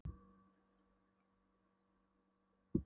Eða stefnt öryggi þegna konungs í voða með vítaverðum hætti.